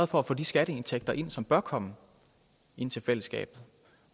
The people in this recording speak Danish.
for at få de skatteindtægter ind som bør komme ind til fællesskabet